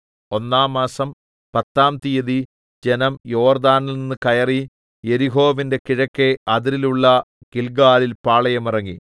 ഒന്നാം മാസം പത്താം തിയ്യതി ജനം യോർദ്ദാനിൽനിന്ന് കയറി യെരിഹോവിന്റെ കിഴക്കെ അതിരിലുള്ള ഗില്ഗാലിൽ പാളയം ഇറങ്ങി